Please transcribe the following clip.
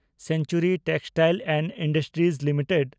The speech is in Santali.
century textile and industries limited